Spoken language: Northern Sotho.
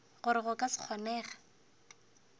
gore go ka se kgonege